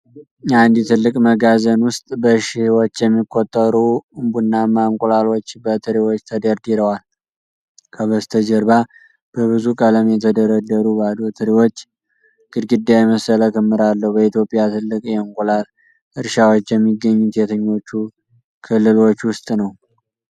አንድ ትልቅ መጋዘን ውስጥ በሺህዎች የሚቆጠሩ ቡናማ እንቁላሎች በትሪዎች ተደርድረዋል። ከበስተጀርባ በብዙ ቀለም የተደረደሩ ባዶ ትሪዎች ግድግዳ የመሰለ ክምር አለው። በኢትዮጵያ ትልቅ የእንቁላል እርሻዎች የሚገኙት የትኞቹ ክልሎች ውስጥ ነው?